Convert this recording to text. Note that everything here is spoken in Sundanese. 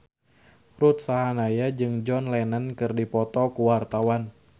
Ruth Sahanaya jeung John Lennon keur dipoto ku wartawan